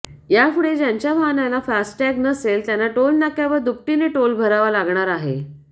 यापुढे ज्यांच्या वाहनाला फास्टॅग नसेल त्यांना टोलनाक्यावर दुपटीने टोल भरावा लागणार आहे